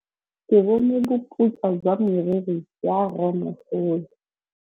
Ke bone boputswa jwa meriri ya rrêmogolo.